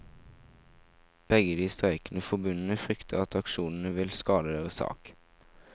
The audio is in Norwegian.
Begge de streikende forbundene frykter at aksjonene vil skade deres sak.